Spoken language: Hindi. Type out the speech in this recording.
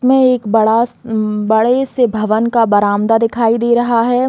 मैं एक बड़ा अम्म बड़े से भवन का बरामदा दिखाई दे रहा है।